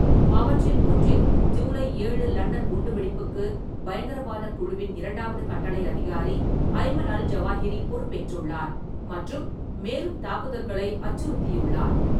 அவற்றில் ஒன்றில், ஜூலை ஏழு லண்டன் குண்டுவெடிப்புக்கு பயங்கரவாதக் குழுவின் இரண்டாவது கட்டளை அதிகாரி அய்மன் அல்-ஜவாஹிரி பொறுப்பேற்றுள்ளார் மற்றும் மேலும் தாக்குதல்களை அச்சுறுத்தியுள்ளார்.